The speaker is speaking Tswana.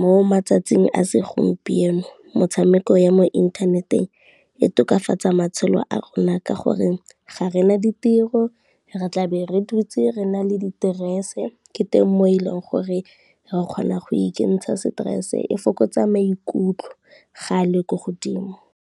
mo matsatsing a segompieno motshameko ya mo inthaneteng e tokafatsa matshelo a a rona ka gore, ga rena ditiro re tla be re dutse re na le diterese ke teng mo e leng gore re kgona go ikentsha stress, e fokotsa maikutlo ga a le ko godimo.